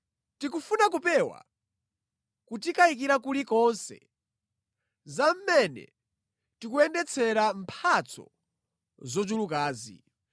Tikufuna kupewa kutikayikira kulikonse za mmene tikuyendetsera mphatso zochulukazi.